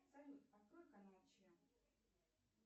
салют открой канал че